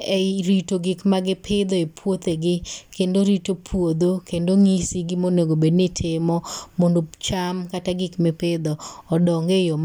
ei rito gikmagipidho e puothegi, kendo rito puodho kendo ng'isi gimonegobedni itimo mondo cham kata gikmipidho odong e yoo ma.